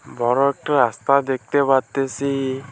বড় একটা রাস্তা দেখতে পারতেসি-ই।